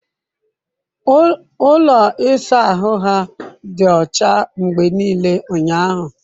Ụlọ ịsa ahụ ha dị ọcha mgbe niile ụnyahụ.